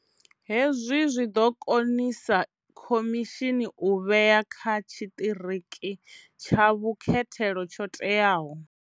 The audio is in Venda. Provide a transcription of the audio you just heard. Hezwi zwi ḓo konisa khomishini u vhea kha tshiṱiriki tsha vhukhethelo tsho teaho.